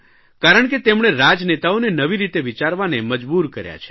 કારણ કે તેમણે રાજનેતાઓને નવી રીતે વિચારવાને મજબૂર કર્યા છે